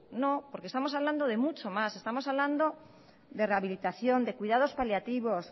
no porque estamos hablando de mucho más estamos hablando de rehabilitación de cuidados paliativos